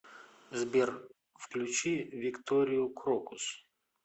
сбер включи викторию крокус